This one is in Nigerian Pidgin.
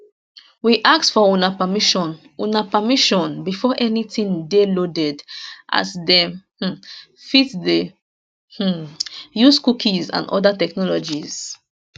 we ask for una permission una permission before anytin dey loaded as dem um fit dey um use cookies and oda technologies